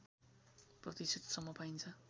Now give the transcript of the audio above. प्रतिशतसम्म पाइन्छ